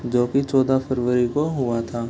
जो की चोदा फरवरी को हुआ था।